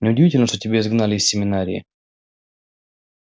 неудивительно что тебя изгнали из семинарии